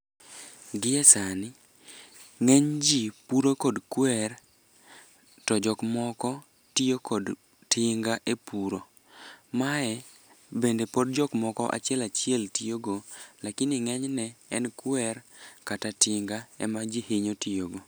Gie sani ng'eny ji puro kod kwer to jokmoko tiyo kod tinga e puro. Mae bende pod jokmoko achiel achiel tiyogo lakini ng'enyne en kwer kata tinga ema ji hinyo tiyogo.